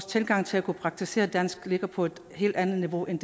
tilgangen til at kunne praktisere dansk ligger på et helt andet niveau end